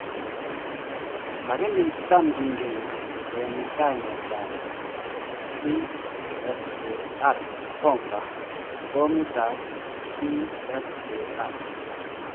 Lagini tam kingen en kainet ap tsar bomba - Bomit ap Tsar